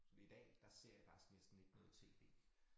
Så det i dag der ser jeg faktisk næsten ikke noget tv